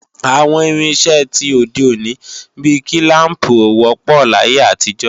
Àwọn irinṣẹ́ ti òde òní bí kílàmpù ò wọ́pọ̀ láyé àtijọ́